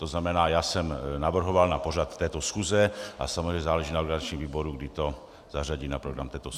To znamená, já jsem navrhoval na pořad této schůze a samozřejmě záleží na organizačním výboru, kdy to zařadí na program této schůze.